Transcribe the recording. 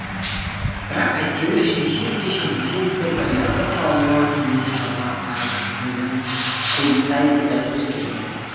бірақ әйтеуір жеңсе де жеңілсе де баяғы палуан денелі жалпақ сары күнінен құйттай да өзгермепті